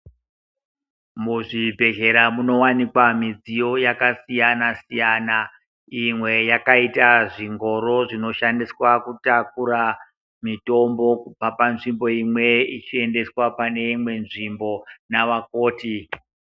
Muzvibhedhlera munowanikwa zvidziyo zvakasiyana-siyana, imwe yakaita zvingoro zvinoshandiswa kutakura mitombo kubva panzvimbo imwe, ichiendeswa pane imwe nzvimbo navakoti.